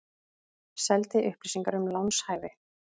Seldi upplýsingar um lánshæfi